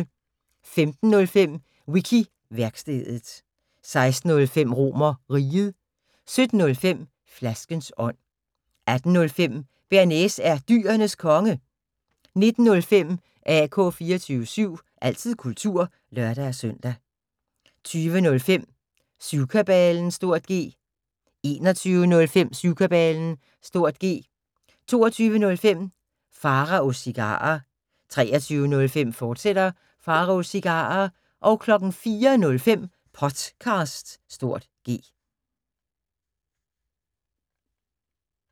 15:05: Wiki-værkstedet 16:05: RomerRiget 17:05: Flaskens ånd 18:05: Bearnaise er Dyrenes Konge 19:05: AK 24syv – altid kultur (lør-søn) 20:05: Syvkabalen (G) 21:05: Syvkabalen (G) 22:05: Pharaos Cigarer 23:05: Pharaos Cigarer, fortsat 04:05: Potcast (G)